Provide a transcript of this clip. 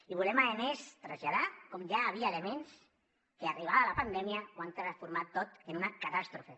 i volem a més traslladar com ja hi havia elements que arribada la pandèmia ho han transformat tot en una catàstrofe